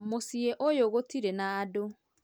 Mũciĩ ũyũ gũtirĩ na andũ